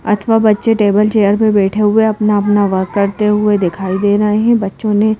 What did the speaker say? अथवा बच्चे table chair पर बैठे हुए अपना-अपना वर्क करते हुए दिखाई दे रहे हैं बच्चों ने--